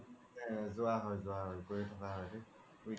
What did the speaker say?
অ জুৱা হয় জুৱা হয় গৈয়ে থকা হয়